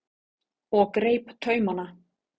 og greip taumana.